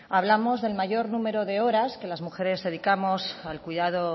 hablamos del mayor número de horas que las mujeres dedicamos al cuidado